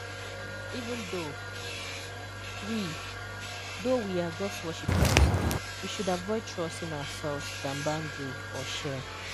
Even though we though we are God's worshipers, we should avoid trusting ourselves than boundary/share.